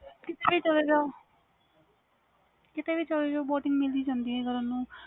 ਕੀਤੇ ਵੀ ਚਲ ਜਾਓ boating ਮਿਲ ਜਾਂਦੀ ਆ